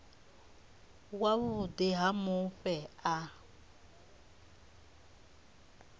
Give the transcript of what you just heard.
wa vhuḓi ha mufhe a